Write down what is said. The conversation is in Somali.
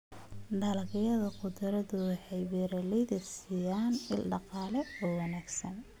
Dalagyada khudraddu waxay beeralayda siiyaan il dhaqaale oo wanaagsan.